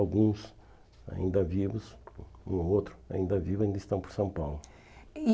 Alguns ainda vivos, um outro ainda vivo, ainda estão por São Paulo. E